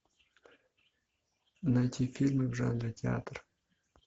найти фильмы в жанре театр